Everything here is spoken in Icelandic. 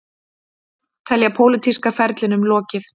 Telja pólitíska ferlinum lokið